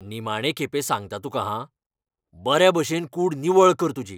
निमाणे खेपे सांगता तुकां, हां. बरे भशेन कूड निवळ कर तुजी.